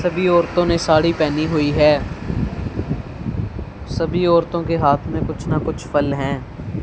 सभी औरतों ने साड़ी पहनी हुई है सभी औरतों के हाथ में कुछ ना कुछ फल हैं।